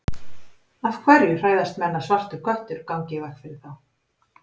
Af hverju hræðast menn að svartur köttur gangi í veg fyrir þá?